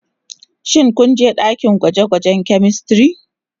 Shin ku je dakin gwaje-gwajen " chemistry"